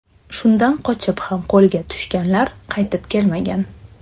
Shundan qochib ham qo‘lga tushganlar qaytib kelmagan.